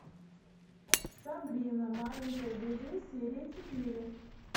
сабрина маленькая ведьма серия четыре